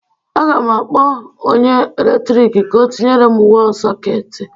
A ga m akpọ onye eletrik ka ọ tinyere m wọl sọketi